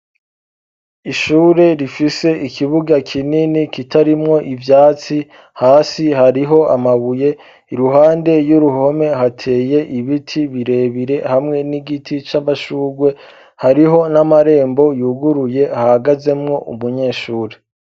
Ishure rifise ikibuga kinini ,kitarimwo ivyatsi ,hasi hariho amabuye ,iruhande y'uruhome hateye ibiti birebire, hamwe n'igiti c'amashugwe, hariho n'amarembo yuguruye ahagazemwo umunyeshuri.